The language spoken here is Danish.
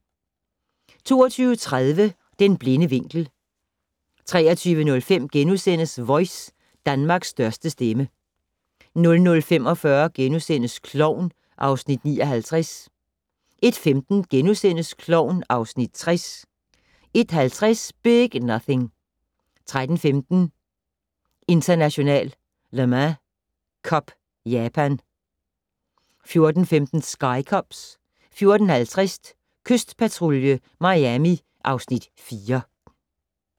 22:30: Den blinde vinkel 23:05: Voice - Danmarks største stemme * 00:45: Klovn (Afs. 59)* 01:15: Klovn (Afs. 60)* 01:50: Big Nothing 03:15: International Le Mans Cup - Japan 04:15: Sky Cops 04:50: Kystpatrulje Miami (Afs. 4)